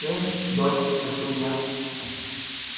сын дочь спросил я